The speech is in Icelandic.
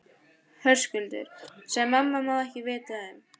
Höskuldur: Sem mamma má ekki vita um?